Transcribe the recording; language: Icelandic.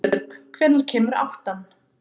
Sólbjörg, hvenær kemur áttan?